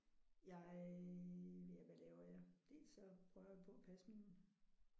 Jeg ja hvad laver jeg. Dels så prøver jeg på at passe mine